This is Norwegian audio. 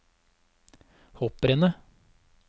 hopprennet